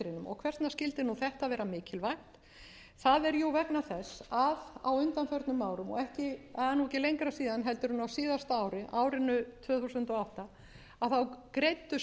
vegna skyldi þetta vera mikilvægt það er jú vegna þess að á undanförnum árum og það er ekki lengra síðan en á síðasta ári árinu tvö þúsund og átta greiddu stofnfjáreigendur sér út